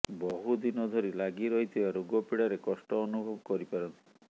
ବହୁ ଦିନ ଧରି ଲାଗି ରହିଥିବା ରୋଗପୀଡ଼ାରେ କଷ୍ଟ ଅନୁଭବ କରିପାରନ୍ତି